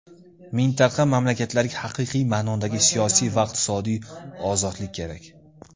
Mintaqa mamlakatlariga haqiqiy ma’nodagi siyosiy va iqtisodiy ozodlik kerak.